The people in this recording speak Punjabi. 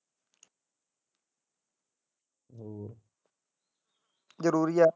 ਜਰੂਰੀ ਹੈ।